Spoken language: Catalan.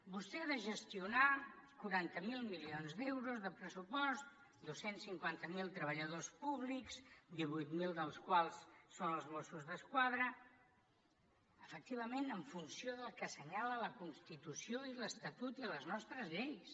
vostè ha de gestionar quaranta miler milions d’euros de pressupost dos cents i cinquanta miler treballadors públics divuit mil dels quals són els mossos d’esquadra efectivament en funció del que assenyalen la constitució i l’estatut i les nostres lleis